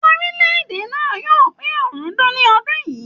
Orilẹ èdè náà yóò pe ọ̀rúndún ní ọdún yìí.